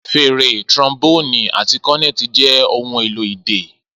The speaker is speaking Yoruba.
Fèrè, trombone, àti cornet jẹ́ ohun èlò idẹ.